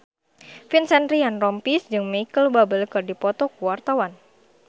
Vincent Ryan Rompies jeung Micheal Bubble keur dipoto ku wartawan